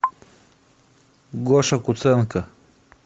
гоша куценко